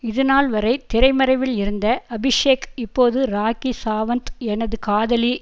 இதுநாள்வரை திரைமறைவில் இருந்த அபிஷேக் இப்போது ராக்கி சாவந்த் எனது காதலி